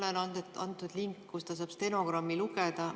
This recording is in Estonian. Talle on antud link, kust ta saab stenogrammi lugeda.